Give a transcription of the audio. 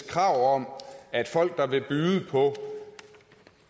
krav om at folk der vil byde på